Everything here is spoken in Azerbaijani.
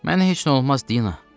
Mənə heç nə olmaz, Dina!